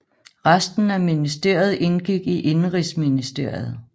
Resten af ministeriet indgik i indenrigsministeriet